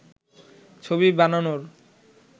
ছবি বানানোর